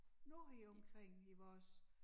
Nu heromkring i vores